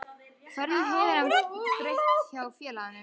Hverju hefur hann breytt hjá félaginu?